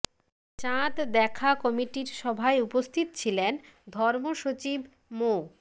চাঁদ দেখা কমিটির সভায় উপস্থিত ছিলেন ধর্ম সচিব মো